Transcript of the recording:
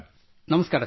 ನಮಸ್ಕಾರ ನಮಸ್ಕಾರ